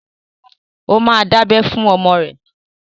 Ó ma dábẹ́ fún ọmọ ẹ!